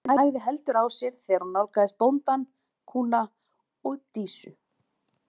Lestin hægði heldur á sér þegar hún nálgaðist bóndann, kúna og Dísu.